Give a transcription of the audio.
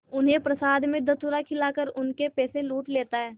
उन्हें प्रसाद में धतूरा खिलाकर उनके पैसे लूट लेता है